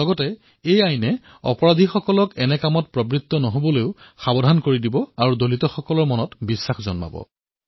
লগতে ই অপৰাধীসকলক অত্যাচাৰ কৰাৰ পৰা বাধা প্ৰদান কৰিব আৰু দলিত সম্প্ৰদায়ত বিশ্বাসৰ সৃষ্টি হব